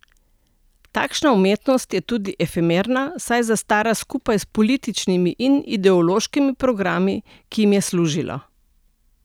Takšna umetnost je tudi efemerna, saj zastara skupaj s političnimi in ideološkimi programi, ki jim je služila.